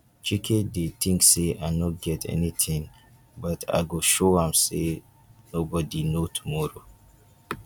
chike dey think say i no get anything but i go show am say nobody know tomorrow